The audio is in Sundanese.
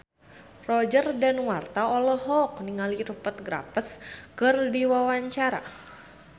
Roger Danuarta olohok ningali Rupert Graves keur diwawancara